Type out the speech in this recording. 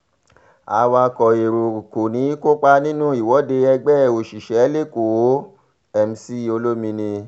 awakọ̀ èrò kò ní í kópa nínú ìwọ́de ẹgbẹ́ òṣìṣẹ́ lẹ́kọ̀ọ́- mc olomini